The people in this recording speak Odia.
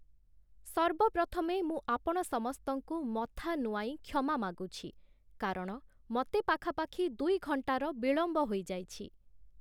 ସର୍ବପ୍ରଥମେ ମୁଁ ଆପଣ ସମସ୍ତଙ୍କୁ ମଥା ନୁଆଁଇ କ୍ଷମା ମାଗୁଛି, କାରଣ ମୋତେ ପାଖାପାଖି ଦୁଇ ଘଣ୍ଟାର ବିଳମ୍ବ ହୋଇଯାଇଛି ।